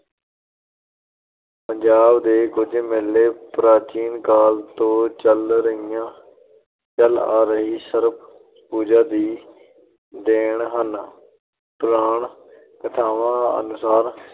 ਪੰਜਾਬ ਦੇ ਕੁਝ ਮੇਲੇ ਪ੍ਰਾਚੀਨ ਕਾਲ ਤੋ ਚਲੀ ਆ ਰਹੀ ਸਰਪ-ਪੂਜਾ ਦੀ ਦੇਣ ਹਨ। ਪੁਰਾਣ-ਕਥਾਵਾਂ ਅਨੁਸਾਰ